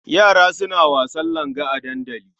Yara suna wasan langa a dandali.